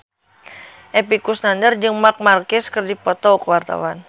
Epy Kusnandar jeung Marc Marquez keur dipoto ku wartawan